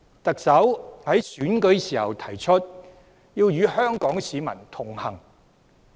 特首在選舉時提出，要與香港市民同行。